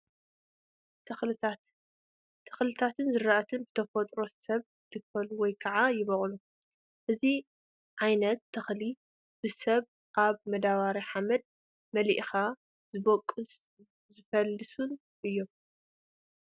ተኽልታት፡- ተኽልታትን ዝራእትን ብተፈጥሮን ብሰብ ይትከሉ ወይ ከዓ ይበቑሉ፡፡ እዚ ዓይነት ተኽሊ ብሰባት ኣብ መዳበርያ ሓመድ መልእኻ ዝበቖሉን ዝፈለሱን እዮም፡፡